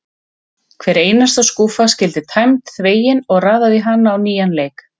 Hver einasta skúffa skyldi tæmd, þvegin og raðað í hana á nýjan leik.